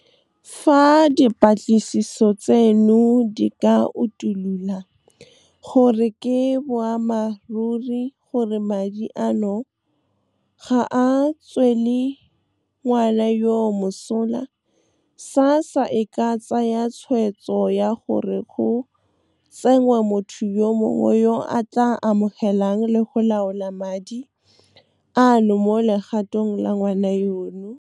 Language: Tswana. "Fa dipatlisiso tseno di ka utulola gore ke boammaruri gore madi a no ga a tswele ngwana yoo mosola, SASSA e ka tsaya tshwetso ya gore go tsenngwe motho yo mongwe yo a tla amogelang le go laola madi ano mo legatong la ngwana yono," "Fa dipatlisiso tseno di ka utulola gore ke boammaruri gore madi a no ga a tswele ngwana yoo mosola, SASSA e ka tsaya tshwetso ya gore go tsenngwe motho yo mongwe yo a tla amogelang le go laola madi ano mo legatong la ngwana yono,"